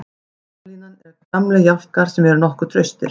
Varnarlínan er gamlir jálkar sem eru nokkuð traustir.